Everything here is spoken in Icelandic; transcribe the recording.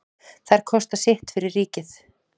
Þær kosta sitt fyrir ríkið.